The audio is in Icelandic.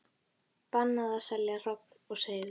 Bannað að selja hrogn og seiði